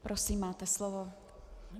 Prosím, máte slovo.